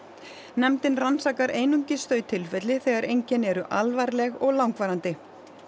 nefndin rannsakar einungis þau tilfelli þegar einkenni eru alvarleg og langvarandi